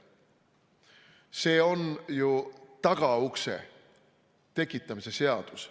See on ju tagaukse tekitamise seadus.